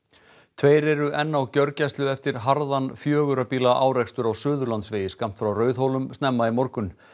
tveir eru enn á gjörgæslu eftir harðan fjögurra bíla árekstur á Suðurlandsvegi skammt frá Rauðhólum snemma í morgun